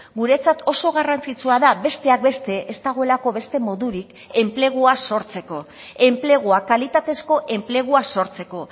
guretzat oso garrantzitsua da besteak beste ez dagoelako beste modurik enplegua sortzeko enplegua kalitatezko enplegua sortzeko